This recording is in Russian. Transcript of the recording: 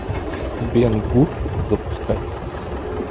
бен гур запускай